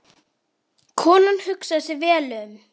Konan hugsar sig vel um.